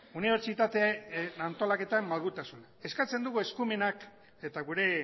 unibertsitate antolaketan malgutasuna eskatzen dugu eskumenak eta gure